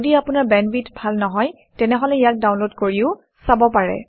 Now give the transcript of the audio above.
যদি আপোনাৰ বেণ্ডৱিডথ ভাল নহয় তেনেহলে ইয়াক ডাউনলোড কৰিও চাব পাৰে